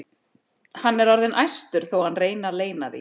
Hann er orðinn æstur þó að hann reyni að leyna því.